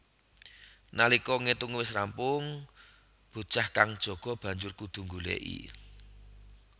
Nalika ngetunge wis rambung bocah kang jaga banjur kudu nggoleki